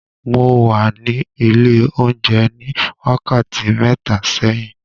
Mo wà ní ilé oúnjẹ ní wákàtí mẹ́ta sẹ́yìn.